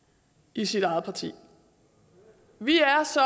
i sit eget parti vi er så